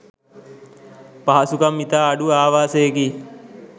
පහසුකම් ඉතා අඩු ආවාසයකි.